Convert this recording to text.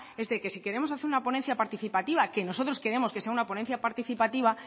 es que si queremos hacer una ponencia participativa que nosotros queremos que sea una ponencia participativa